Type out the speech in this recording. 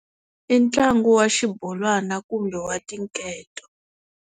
I ntlangu wa xibolwana kumbe wa tinketo.